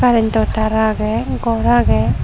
karento tar age gor agey.